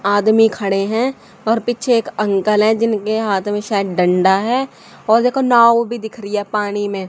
आदमी खड़े हैं और पीछे एक अंकल है जिनके हाथ में शायद डंडा है और देखो नाव भी दिख रही है पाड़ी मे।